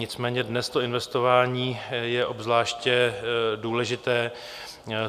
Nicméně dnes to investování je obzvláště důležité.